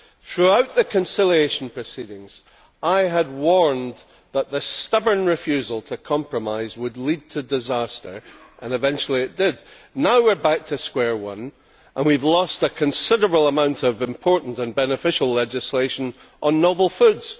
Throughout the conciliation proceedings, I had warned that the stubborn refusal to compromise would lead to disaster and eventually it did. Now we are back to square one, and we have lost a considerable amount of important and beneficial legislation on novel foods.